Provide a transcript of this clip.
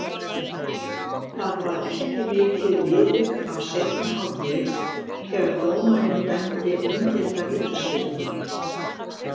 Það var ekki mikið liðið af seinni hálfleik þegar dómarinn dæmdi umdeilda vítaspyrnu.